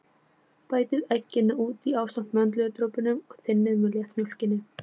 Bætið egginu út í ásamt möndludropunum og þynnið með léttmjólkinni.